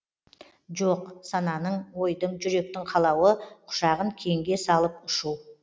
жоқ сананың ойдың жүректің қалауы құшағын кеңге салып ұшу